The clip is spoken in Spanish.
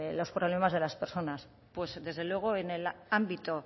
los problemas de las personas pues desde luego en el ámbito